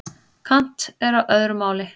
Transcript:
Kant er á öðru máli.